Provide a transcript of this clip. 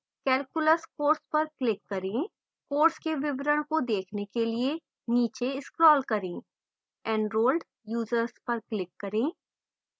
calculus course पर click करें course के विवरण को देखने के लिए नीचे scroll करें enrolled users पर click करें